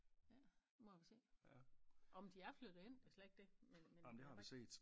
Ja nu må vi se orh men de er flyttet ind det slet ikke det men men vi har bare ikke